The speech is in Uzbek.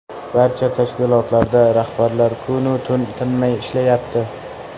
Barcha tashkilotlarda rahbarlar kun-u tun tinmay ishlayapti.